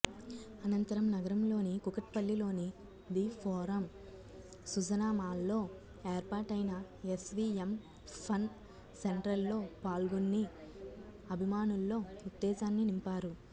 అనంతరం నగరంలోని కూకట్పల్లిలోని ది ఫోరం సుజనా మాల్లో ఏర్పాటైన ఎస్వీఎం ఫన్ సెంట్రల్లో పాల్గొన్ని అభిమానుల్లో ఉత్తేజాన్ని నింపారు